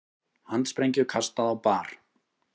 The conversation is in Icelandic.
Handsprengju kastað á bar